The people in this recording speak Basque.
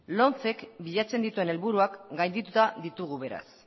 lomce k bilatzen dituen helburuak gaindituta ditugu bereaz